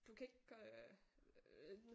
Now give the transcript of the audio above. Du kan ikke øh